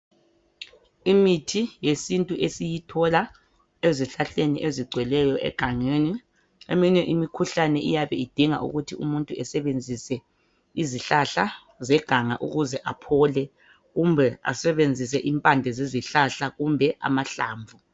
Imithi yesintu esiyithola ezihlahleni ezigcweleyo egangeni. Eminye imikhuhlane iyabe idinga ukuthi umuntu esebenzise izihlahla zeganga ukuze aphole kumbe asebenzise impande zezihlahla kumbe amahlamvu.